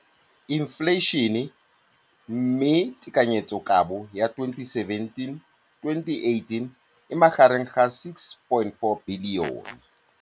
Infleišene, mme tekanyetsokabo ya 2017 2018 e magareng ga 6.4 bilione.